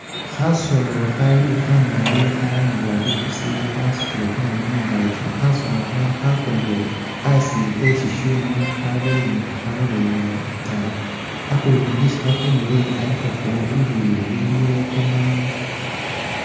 Khasolo khali khamali khalangiwa ipusi khasutile kamaru mungakyi khasolokha khakonile asi kheshishyuuma khabelenga khalolela itayi hakundu isi kakonile alikawo bibindu biliwo kamadu